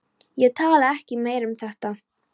Ég talaði ekki meira um þetta.